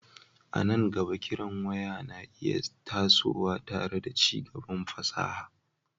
A nan gaba, kiran waya na iya tasowa tare da ci gaban fasaha,